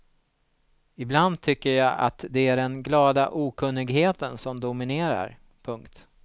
Ibland tycker jag att det är den glada okunnigheten som dominerar. punkt